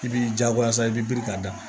I b'i jagoya sa i bɛ biri ka da